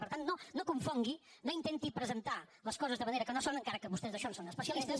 per tant no confongui no intenti presentar les coses de manera que no són encara que vostès d’això en són especialistes